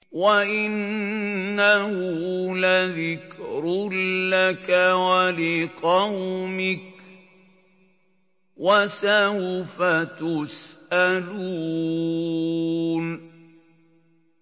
وَإِنَّهُ لَذِكْرٌ لَّكَ وَلِقَوْمِكَ ۖ وَسَوْفَ تُسْأَلُونَ